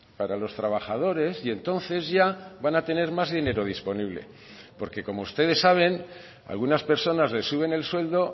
para los trabajadores y entonces ya van a tener más dinero disponible porque como ustedes saben algunas personas les suben el sueldo